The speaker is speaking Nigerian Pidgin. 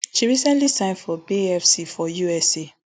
she recently sign for bay fc for usa